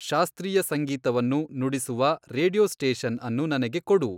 ಶಾಸ್ತ್ರೀಯ ಸಂಗೀತವನ್ನು ನುಡಿಸುವ ರೇಡಿಯೊ ಸ್ಟೇಷನ್ ಅನ್ನು ನನಗೆ ಕೊಡು